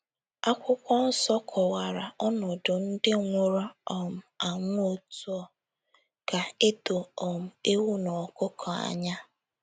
Akwụkwọ nsọ kọwara ọnọdụ ndị nwụrụ um anwụ otú ọ ga - edo um ewu na ọkụkọ anya.